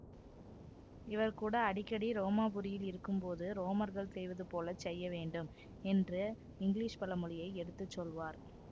இவர் கூட அடிக்கடி ரோமாபுரியில் இருக்கும் போது ரோமர்கள் செய்வது போல செய்ய வேண்டும் என்ற இங்கிலீஷ் பழமொழியை எடுத்து சொல்வார்